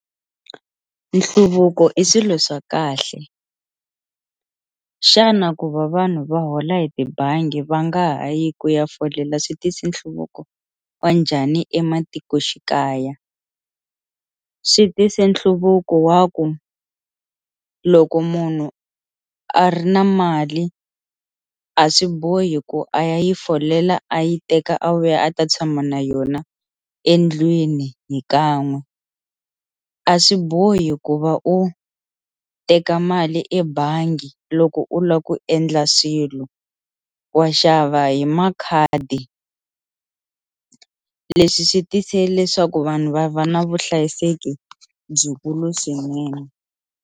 Nhluvuko i swilo swa kahle, xana ku va vanhu va hola hi tibangi va nga ha yi ku ya folela swi tisi nhluvuko wa njhani ematikoxikaya, swi tise nhluvuko wa ku loko munhu a ri na mali a swi bohi ku a ya yi folela a yi teka a vuya a ta tshama na yona endlwini hi kan'we a swi bohi ku va u teka mali ebangi loko u lava ku endla swilo wa xava hi makhadi, leswi swi tise leswaku vanhu va va na vuhlayiseki byikulu swinene.